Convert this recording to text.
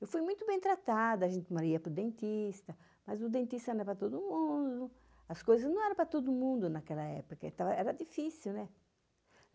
Eu fui muito bem tratada, a gente uma hora ia para o dentista, mas o dentista não era para todo mundo, né, as coisas não eram para todo mundo naquela época, era difícil, né?